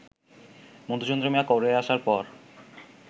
মধুচন্দ্রিমা করে আসার পর